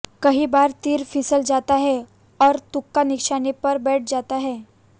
कई बार तीर फिसल जाता है और तुक्का निशाने पर बैठ जाता है